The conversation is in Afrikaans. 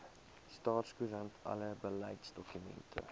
staatskoerant alle beleidsdokumente